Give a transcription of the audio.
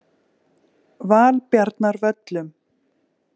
Valbjarnarvöllum